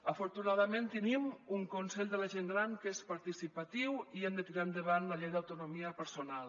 afortunadament tenim un consell de la gent gran que és participatiu i hem de tirar endavant la llei d’autonomia personal